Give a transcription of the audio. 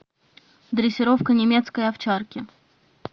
дрессировка немецкой овчарки